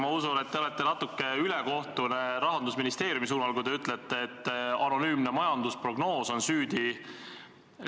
Ma usun, et te olete natuke ülekohtune Rahandusministeeriumi vastu, kui te ütlete, et anonüümne majandusprognoos on süüdi.